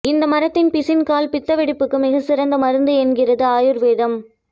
இந்த மரத்தின் பிசின் கால் பித்த வெடிப்புக்கு மிகச்சிறந்த மருந்து என்கிறது ஆயுர்வேதம்